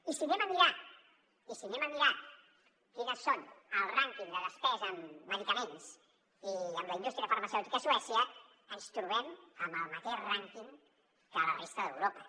i si anem a mirar quines són al rànquing de despesa en medicaments i amb la indústria farmacèutica a suècia ens trobem amb el mateix rànquing que a la resta d’europa